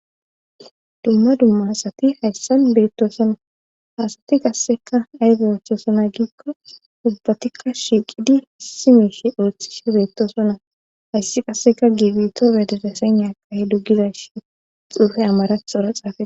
dumma dumma asati hayssan beettoosona haasati qasseka aybe oosona giikko ubbatikka shiiqidi issi miishe ooththishe beettosonaa hayssi qasseka giibito bedereseqnahe duggizashi xuufe amarathora xaafe